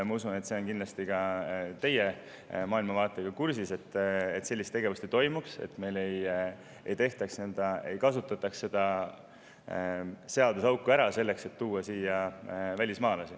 Ma usun, et see kindlasti ka teie maailmavaatega, et sellist tegevust ei toimuks, et meil ei kasutataks seda seaduseauku ära selleks, et tuua siia välismaalasi.